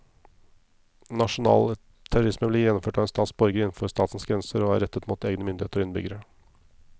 Nasjonal terrorisme blir gjennomført av en stats borgere innenfor statens grenser og er rettet mot egne myndigheter og innbyggere.